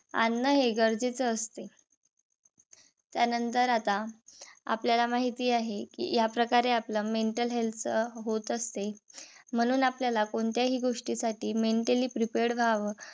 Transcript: आणणे हे गरजेच असते. त्यानंतर आता आपल्याला माहिती आहे कि याप्रकारे आपला mental health होत असते. म्हणून आपल्याला कोणत्याही गोष्टीसाठी mentally prepared व्हाव.